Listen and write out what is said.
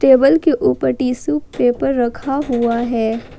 Table के ऊपर tissue paper रखा हुआ है।